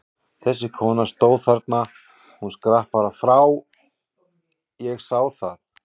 Þessi kona stóð þarna, hún skrapp bara frá, ég sá það!